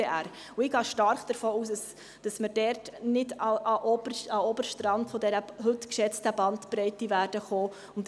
Ich gehe stark davon aus, dass wir dort nicht an den oberen Rand der heute geschätzten Bandbreite kommen werden.